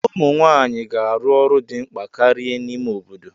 Ụmụ nwanyị ga-arụ ọrụ dị mkpa karịa n'ime obodo.